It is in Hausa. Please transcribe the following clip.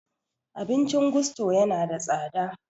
Abincin gusto yana da tsada